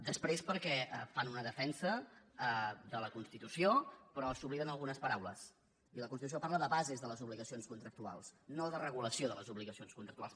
després perquè fan una defensa de la constitució però s’obliden d’algunes paraules i la constitució parla de bases de les obligacions contractuals no de regulació de les obligacions contractuals